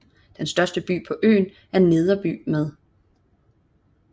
Den største by på øen er Nederby med